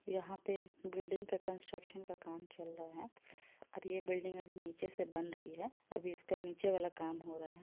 यहाँ पे बिल्डिंग का कंस्ट्रक्शन का काम चल रहा है और ये बिल्डिंग अभी नीचे से बन रही है अभी इसका नीचे वाला काम हो रहा है।